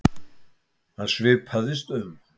Hann svipaðist um.